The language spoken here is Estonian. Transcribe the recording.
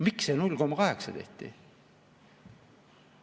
Miks see 0,8 tehti?